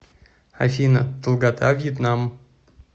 афина долгота вьетнам